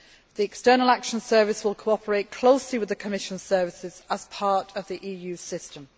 The External Action Service will cooperate closely with the Commission services as part of the EU system.